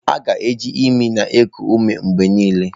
A ga-eji imi na-eku ume mgbe niile.